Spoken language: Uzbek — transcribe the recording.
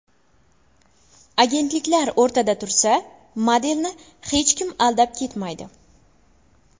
Agentliklar o‘rtada tursa, modelni hech kim aldab ketmaydi.